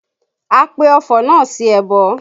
A pe ọfọ̀ náà sí ẹbọ